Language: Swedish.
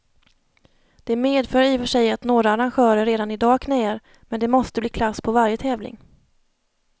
Det medför i och för sig att några arrangörer redan i dag knäar, men det måste bli klass på varje tävling.